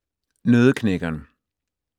Nøddeknækkeren